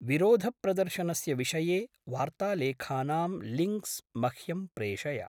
विरोधप्रदर्शनस्य विषये वार्तालेखानां लिंक्स् मह्यं प्रेषय।